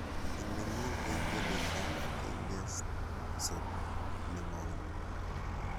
Inemu kengeletab kengetsot nebo oli